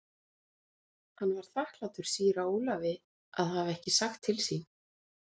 Hann var þakklátur síra Ólafi að hafa ekki sagt til sín.